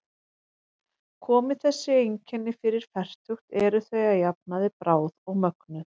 Komi þessi einkenni fyrir fertugt eru þau að jafnaði bráð og mögnuð.